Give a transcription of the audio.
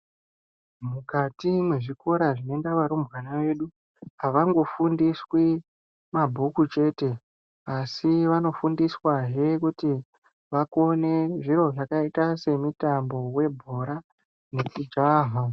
Mukati mwezvikora zvinoenda varumbwana vedu avangofundiswi mabhuku chete asi vanofundiswahe kuti vakone zviro zvakaita semutambo webhora nekujaha.